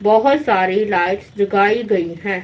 बहुत सारी लाइट्स जगाई गई हैं।